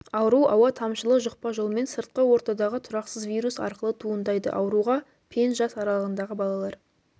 ауру ауа тамшылы жұқпа жолмен сыртқы ортадағы тұрақсыз вирус арқылы туындайды ауруға пен жас аралығындағы балалар